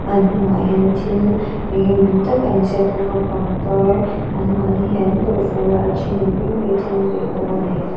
apn hnungah hian thil eng emaw ni tak a inziak bawk a pangpar anmahni hian an awrh fur a a thenin bengbeh te an beh bawk a ni.